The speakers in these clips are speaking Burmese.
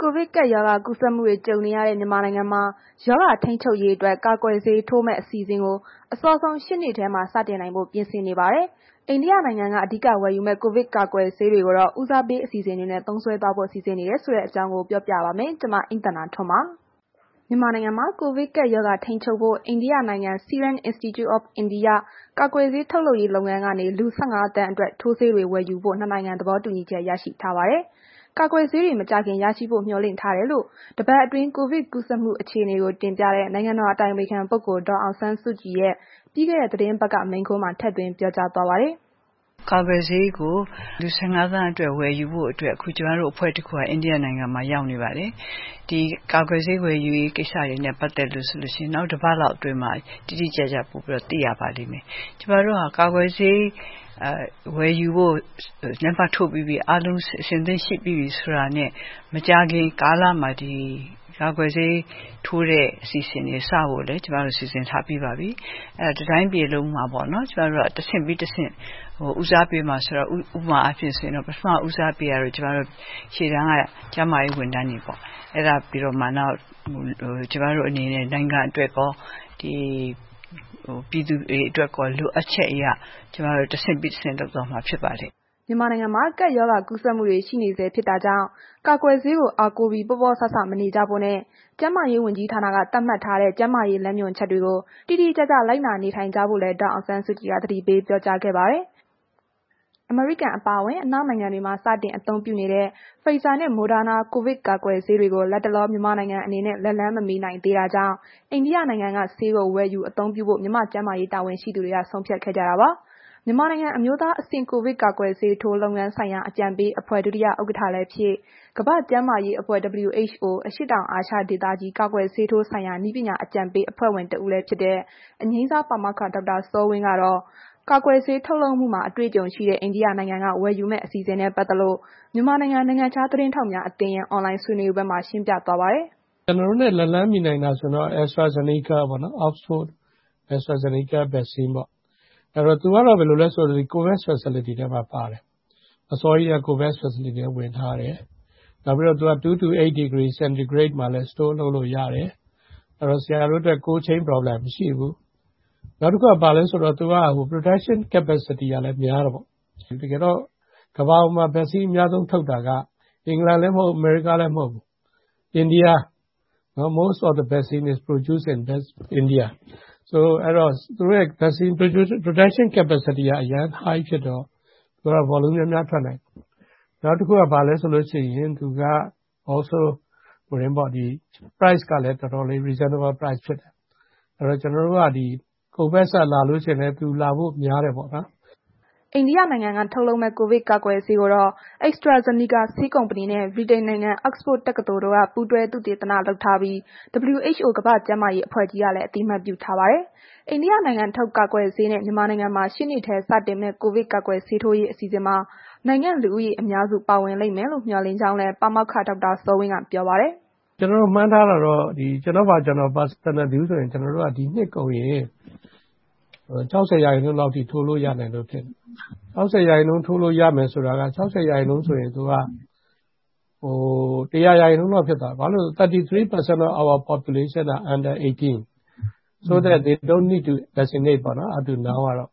ကိုဗစ်ကပ်ရောဂါကူးစက်မှုတွေ ကြုံနေရတဲ့ မြန်မာနိုင်ငံမှာ ရောဂါထိန်းချုပ်ရေးအတွက် ကာကွယ်ဆေးထိုးမယ့် အစီအစဉ်ကို အစောဆုံး ရှေ့နှစ်ထဲ စတင်နိုင်ဖို့ ပြင်ဆင်နေပါတယ်။ အိန္ဒိယနိုင်ငံက အဓိက ဝယ်ယူမယ့် ကိုဗစ်ကာကွယ်ဆေးကိုတော့ ဦးစားပေး အစီအစဉ်တွေနဲ့ သုံးစွဲသွားဖို့လည်း စီစဉ်နေတာပါ။ အပြည့်အစုံကိုတော့ ဗွီအိုအေ မြန်မာပိုင်း သတင်းထောက် မအိမ့်သန္တာထွန်းက ပြောပြပါမယ်။ မြန်မာနိုင်ငံမှာ ကိုဗစ်ကပ်ရောဂါ ထိန်းချုပ်ဖို့ အိန္ဒိယနိုင်ငံ Serum Institute Of India ကာကွယ်ဆေးထုတ်လုပ်ရေး လုပ်ငန်းကနေ လူ ၁၅ သန်းအတွက် ထိုးဆေးတွေ ဝယ်ယူဖို့လည်း ၂ နိုင်ငံ သဘောတူညီချက် ရရှိထားပါတယ်။ ကာကွယ်ဆေးတွေ မကြာခင်ရရှိဖို့မျှော်လင့်ထားကြောင်းလည်း တစ်ပတ်အတွင်းကိုဗစ်ကူးစက်မှု အခြေအနေကို တင်ပြတဲ့ နိုင်ငံတော် အတိုင်ပင်ခံပုဂ္ဂိုလ် ဒေါ်အောင်ဆန်းစုကြည်ရဲ့ ပြီးခဲ့တဲ့ သီတင်းပတ်က မိန်ခွန်းမှာ ထည့်သွင်းပြောကြားသွားပါတယ်။ “ကာကွယ်ဆေးကို လူ ၁၅ သန်းစာ ဝယ်ယူဖို့အတွက် အခု ကျမတို့ ကိုယ်စားလှယ်အဖွဲ့တခုက အိန္ဒိယနိုင်ငံမှာ ရောက်နေပါတယ်။ ဒီကာကွယ်ဆေး ဝယ်ယူတဲ့ကိစ္စနဲ့ ပတ်သက်ရင် နောက်တပတ်လောက်အတွင်းမှာ တိတိကျကျ ပိုပြီး သိရပါလိမ့်မယ်။ ကာကွယ်ဆေးဝယ်ယူဖို့ လက်မှတ်ထိုးပြီးပြီ၊ အားလုံး အဆင်သင့်ဖြစ်ပြီ ဆိုတာနဲ့ မကြာခင်ကာလမှာ ကာကွယ်ဆေးထိုးဖို့ အစီအစဉ်တွေ စဖို့ကိုလည်း ကျမတို့ စီစဉ်ထားပြီးပါပြီ။ တတိုင်းပြည်လုံးမှာပေါ့နော်... ဥပမာအားဖြင့်ဆိုရင် ပထမဦးစားပေးကတော့ ရှေ့တန်းက ကျန်းမာရေးဝန်ထမ်းတွေပေါ့။ အဲဒါပြီးတော့မှ နောက် ကျမတို့အနေနဲ့ နိုင်ငံအတွက်ရော၊ ပြည်သူတွေအတွက်ရော လိုအပ်ချက်အရ ကျမတို့ တဆင့်ပြီးတဆင့် လုပ်သွားမှာဖြစ်ပါတယ်။” မြန်မာနိုင်ငံမှာ ကပ်ရောဂါကူးစက်မှုတွေ ရှိနေဆဲ ဖြစ်တာကြောင့် ကာကွယ်ဆေးကို အားကိုးပြီး ပေါ့ပေါ့ဆဆ မနေကြဖို့နဲ့ ကျန်းမာရေးဝန်ကြီးဌာနက သတ်မှတ်ထားတဲ့ ကျန်းမာရေးလမ်းညွှန်ချက်တွေကို တိတိကျကျ လိုက်နာနေထိုင်ကြဖို့လည်း ဒေါ်အောင်ဆန်းစုကြည်က သတိပေးပြောကြားခဲ့ပါတယ်။ အမေရိကန် အပါအဝင် အနောက်နိုင်ငံတွေမှာ စတင်အသုံးပြုနေတဲ့ Pfizer နှင့် Moderna ကိုဗစ်ကာကွယ်ဆေးတွေကို လတ်တလော မြန်မာနိုင်ငံ အနေနဲ့ လက်လှမ်းမမှီနိုင်သေးတာကြောင့် အိန္ဒိယနိုင်ငံကဆေးကို ဝယ်ယူအသုံးပြုဖို့ မြန်မာကျန်းမာရေး တာဝန်ရှိသူတွေ ဆုံးဖြတ်ခဲ့ကြတာပါ။ မြန်မာနိုင်ငံ အမျိုးသားအဆင့် ကာကွယ်ဆေးထိုး လုပ်ငန်းဆိုင်ရာ အကြံပေးအဖွဲ့ ဒုတိယ ဥက္ကဋ္ဌလည်းဖြစ် ကမ္ဘာ့ကျန်းမာရေးအဖွဲ့ WHO အရှေ့တောင်အာရှ ဒေသကြီး ကာကွယ်ဆေးထိုးဆိုင်ရာ နည်းပညာ အကြံပေးအဖွဲ့ဝင်တစ်ဦးဖြစ်တဲ့ အငြိမ်းစားပါမောက္ခ ဒေါက်တာ စောဝင်းကတော့ ကာကွယ်ဆေး ထုတ်လုပ်မှုမှာ အတွေ့အကြုံရှိတဲ့ အိန္ဒိယနိုင်ငံက ဝယ်ယူမယ့် အစီအစဉ်နဲ့ ပတ်သက်လို့ မြန်မာနိုင်ငံ နိုင်ငံခြားသတင်းထောက်အသင်းရဲ့ အွန်လိုင်းဆွေးနွေးပွဲမှာ ရှင်းပြသွားပါတယ်။ “ကျနော်တို့နဲ့ လက်လှမ်းမီနိုင်တာဆိုရင်တော့ AstraZeneca ပေါ့နော်။ သူကတော့ ဘာလဲဆိုတော့ Covax Facility ထဲမှာပါတယ်။ အစောကြီးကတည်းက Covax Facility ထဲဝင်ထားတယ်။ နောက်ပြီးတော့ သူက 2 to 8 degree Centigrade မှာလည်း Store လုပ်လို့ရတယ်။ အဲ့တော့ ဆရာတို့အတွက် Cold Chain problem မရှိဘူး။ နောက်တစ်ခု သူက ဘာလည်းဆိုတော့ production capacity ကလည်း များတယ်ပေါ့။ ကမ္ဘာပေါ်မှာ Vaccine အများဆုံးထုတ်တာက အင်္ဂလန်လည်း မဟုတ်ဘူး၊ အမေရိကလည်း မဟုတ်ဘူး။ အိန္ဒိယ More of the vaccine is produce in India အဲ့ဒီတော့ သူတို့ရဲ့ vaccine production capacity က အရမ်း High ဖြစ်တော့ volume များများထွက်နိုင်တယ်။ နောက်တစ်ခုက ဘာလည်းဆိုတော့ price ကလည်း တော်တော်လည်း reasonable ဖြစ်တယ်။ အဲ့ဒီတော့ ကျနော်တို့ Covax ကလာလို့ရှိရင်လည်း သူလာဖို့များတယ်ပေါ့။” အိန္ဒိယနိုင်ငံက ထုတ်လုပ်မယ့် ကိုဗစ်ကာကွယ်ဆေးကိုတော့ AstraZeneca ဆေးကုမ္ပဏီနဲ့ ဗြိတိန်နိုင်ငံ Oxford တက္ကသိုလ်တို့က ပူးတွဲသုတေသနလုပ်ထားပြီး WHO ကမ္ဘာ့ကျန်းမာရေး အဖွဲ့ကြီးကလည်း အသိအမှတ်ပြုထားပါတယ်။ အိန္ဒိယနိုင်ငံထုတ် ကာကွယ်ဆေးနဲ့ မြန်မာနိုင်ငံမှာ ရှေ့နှစ်ထဲ စတင်မယ့် ကိုဗစ်ကာကွယ်ဆေးထိုးရေး အစီအစဉ်မှာ နိုင်ငံလူဦးရေ အများစု ပါဝင်လိမ့်မယ်လို့ မျှော်လင့်ကြောင်းလည်း ပါမောက္ခ ဒေါက်တာစောဝင်းက ပြောပါတယ်။ “ကျနော်တို့ မှန်းထားတာတော့ ကျနော့် personal view ဆိုရင် ဒီနှစ်ကုန်ရင် ၆၀ ရာခိုင်နှုန်းလောက်အထိ ထိုးလို့ရမယ်လို့ထင်တယ်။ ၆၀ ရာခိုင်နှုန်းထိုးလို့ရမယ်ဆိုတာက ၆၀ ရာခိုင်နှုန်းဆိုရင်သူက ၁၀၀ ရာခိုင်နှုန်းလောက်ဖြစ်သွားတယ် ဘာလို့ဆို 33% of our population က under 18 အဲ့ဒီတော့ သူတို့တွေက ကာကွယ်ဆေးမလိုဘူးပေါ့။ အဲ့ဒီကျ ၆၇ ရာ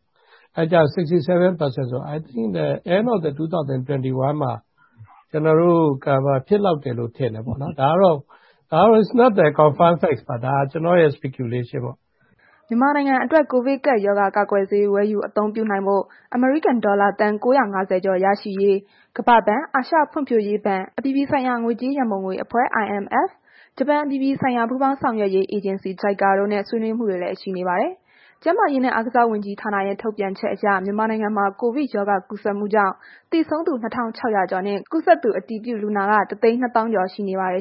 ခိုင်နှုန်းဆိုတော့ ၂၀၂၁ နှစ်ကုန်မှာ ကျနော်တို့ Cover ဖြစ်လောက်တယ်လို့ ထင်တယ်ပေါ့နော်။ ဒါကတော့ ကျနော်ရဲ့ သုံးသပ်ချက် အမြင်ပေါ့။” မြန်မာနိုင်ငံအတွက် ကိုဗစ်ကပ်ရောဂါကာကွယ်ဆေး ဝယ်ယူအသုံးပြုနိုင်ဖို့ အမေရိကန်ဒေါ်လာသန်း ၉၅၀ ကျော် ရရှိရေး ကမ္ဘာ့ဘဏ်၊ အာရှဖွံ့ဖြိုးရေးဘဏ်၊ အပြည်ပြည်ဆိုင်ရာ ငွေကြေးရန်ပုံငွေအဖွဲ့ ဂျပန်အပြည်ပြည်ဆိုင်ရာ ပူးပေါင်းဆောင်ရွက်ရေးအေဂျင်စီ တို့နဲ့ ဆွေးနွေးမှုတွေလည်း ရှိနေပါတယ်။ ကျန်းမာရေးနဲ့ အားကစားဝန်ကြီးဌာနရဲ့ ထုတ်ပြန်ချက်အရ မြန်မာနိုင်ငံမှာ ကိုဗစ်ရောဂါကူးစက်မှုကြောင့် သေဆုံးသူ ၂,၆၀၀ ကျော်နဲ့ ကူးစက်သူ အတည်ပြုလူနာကတော့ ၁၂၀,၀၀၀ ကျော်ရှိနေပါတယ်